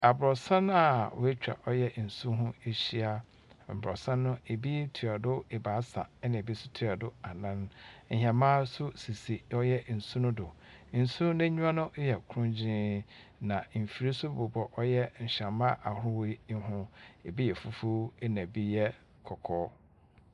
Aborɔsan a woetwa ɔyɛ nsu ho ehyia. Aborɔsan no, bi toa do ebiasa na bi so toa do anan. Nhɛmba nso sisi ɔyɛ nsu no do. Nsu n’enyiwa no yɛ krɔngyenn, na mfir so bobɔ ɔyɛ nhɛmba ahorow yi ho, bi yɛ fufuw na bi yɛ kɔkɔɔ.